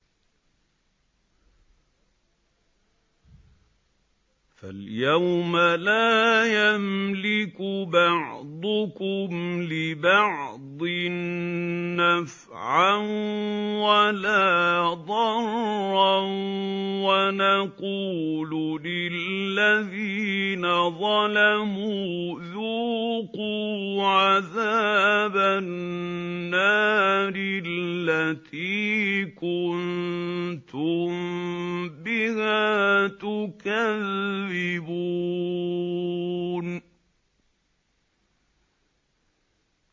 فَالْيَوْمَ لَا يَمْلِكُ بَعْضُكُمْ لِبَعْضٍ نَّفْعًا وَلَا ضَرًّا وَنَقُولُ لِلَّذِينَ ظَلَمُوا ذُوقُوا عَذَابَ النَّارِ الَّتِي كُنتُم بِهَا تُكَذِّبُونَ